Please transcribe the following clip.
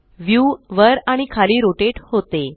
view वर आणि खाली रोटेट होते